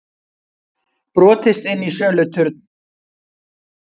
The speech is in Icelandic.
Brotist inn í söluturn